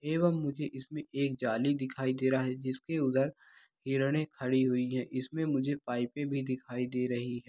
एवं मुझे इसमें एक जाली दिखाई दे रहा है जिसके उधर हिरने खड़ी हुई हैं इसमें मुझे पाइपे भी दिखाई दे रही है।